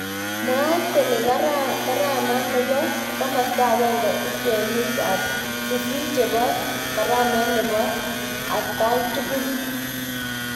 Mwat kolegarama nebo komasta akenge ik kwenut ab sisit chebo karamet nebo akgaitukul.